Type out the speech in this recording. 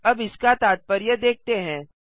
अब इसका तात्पर्य देखते हैं